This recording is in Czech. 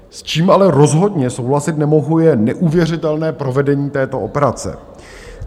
S čím ale rozhodně souhlasit nemohu, je neuvěřitelné provedení této operace.